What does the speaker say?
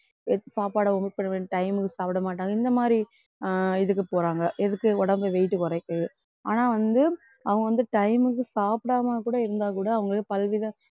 சாப்பாடை omit பண்ண வேண்டிய time க்கு சாப்பிட மாட்டாங்க இந்த மாதிரி ஆஹ் இதுக்கு போறாங்க எதுக்கு உடம்பு weight குறைக்குது ஆனா வந்து அவங்க வந்து time க்கு சாப்பிடாம கூட இருந்தா கூட அவங்களுக்கு பல வித